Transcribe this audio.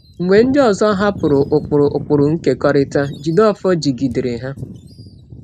Mgbe ndị ọzọ hapụrụ ụkpụrụ ụkpụrụ nkekọrịta, Jideofor jigidere ha.